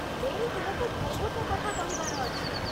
ମୋର ତୁମକୁ ବହୁତ କଥା କହିବାର ଅଛି।